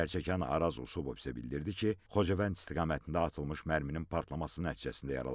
Zərərçəkən Araz Usubov isə bildirdi ki, Xocavənd istiqamətində atılmış mərminin partlaması nəticəsində yaralanıb.